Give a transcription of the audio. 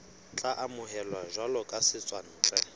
tla amohelwa jwalo ka setswantle